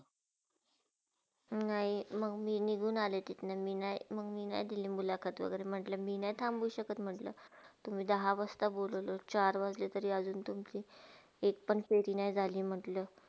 नाही मंग मी निघून आले तिथुन म मी नाही दिले मुलाकात वागेरे म्हटला मी नाय थांबु शक्त तुम्ही दहा वाजता बोलवला आणि चार वाजले तुम्ही तुमची एक पण फेरी नय झाली